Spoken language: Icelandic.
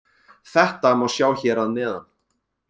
Þetta má sjá hér að neðan.